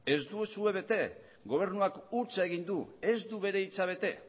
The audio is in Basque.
ez duzue bete gobernuak huts egin du ez du bere hitza bete